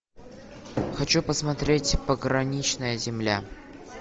хочу посмотреть пограничная земля